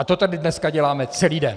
A to tady dneska děláme celý den.